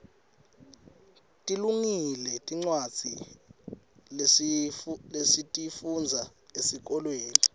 tilungile tincwadza lesitifundza esikolweni